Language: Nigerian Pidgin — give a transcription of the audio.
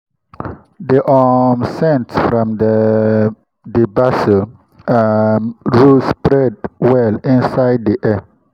the um scent from um the basil um row spread well inside the air.